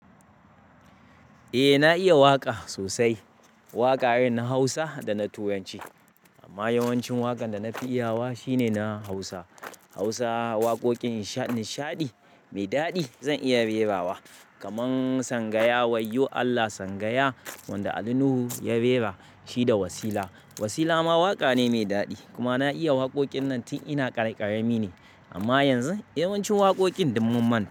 Eh na iya waƙa sosai. Waƙa irin na Hausa da na Turanci. Amma yawancin waƙan da na fi iyawa shine na Hausa. Hausa waƙoƙin nishaɗi mai daɗi zan iya rera wa kamar Sangaya wayo Allah sangaya wanda Ali Nuhu ya rera shi da Wasila. Wasila ma waƙa ne mai daɗi kuma na iya waƙoƙin nan tun ina ƙarƙarami ne. Amma yanzu yawancin waƙoƙin dunmunmanta.